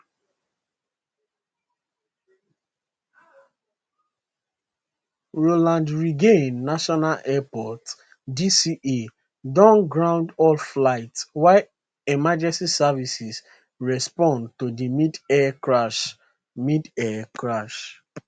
ronald reagan national airport dca don ground all flights while emergency services respond to di midair crash midair crash